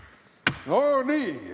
No nii.